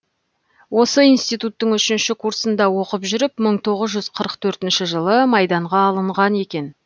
осы институттың үшінші курсында оқып жүріп мың тоғыз жүз қырық төртінші жылы майданға алымған екен